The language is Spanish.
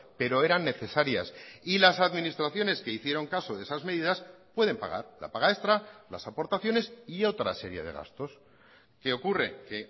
pero eran necesarias y las administraciones que hicieron caso de esas medidas pueden pagar la paga extra las aportaciones y otra serie de gastos qué ocurre que